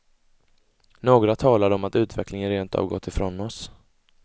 Några talade om att utvecklingen rent av gått ifrån oss.